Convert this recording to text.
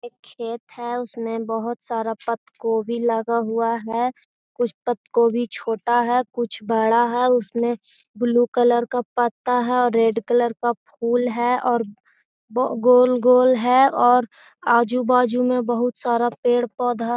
एक खेत है उसमें बहुत सारा पत्त कोभी लगा हुआ है कुछ पत्त कोभी छोटा है कुछ बड़ा है उसमें ब्लू कलर का पत्ता है रेड कलर का फूल है और गोल-गोल है और आजु-बाजु में बहुत सारा पेड़-पौधा --